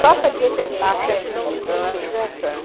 Só pra dizer que a gente estava sempre juntos, era uma judiação.